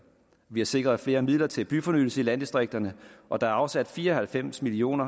vi har sikret flere midler til byfornyelse i landdistrikterne og der er afsat fire og halvfems million